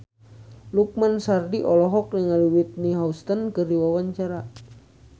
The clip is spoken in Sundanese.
Lukman Sardi olohok ningali Whitney Houston keur diwawancara